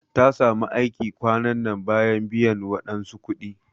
Ta samu aiki kwanan nan bayan biyan wadansu kudi.